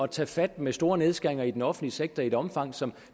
tage fat med store nedskæringer i den offentlige sektor i et omfang som